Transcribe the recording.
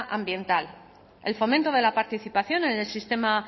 ambiental el fomento de la participación en el sistema